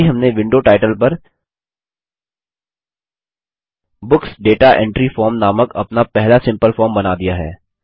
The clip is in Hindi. अभी हमने विंडो टाइटल पर बुक्स दाता एंट्री फॉर्म नामक अपना पहला सिम्पल फॉर्म बना दिया है